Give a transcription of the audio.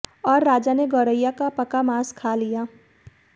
और राजा ने गौरैया का पका मांस खा लिया